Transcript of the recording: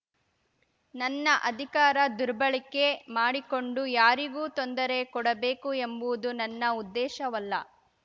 ನನ್ನ ಅಧಿಕಾರ ದುರ್ಬಳಕೆ ಮಾಡಿಕೊಂಡು ಯಾರಿಗೋ ತೊಂದರೆ ಕೊಡಬೇಕು ಎಂಬುವುದು ನನ್ನ ಉದ್ದೇಶವಲ್ಲ